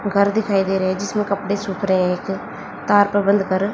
घर दिखाई दे रहे हैं जिसमें कपड़े सुख रहे हैं तार पर बंद कर--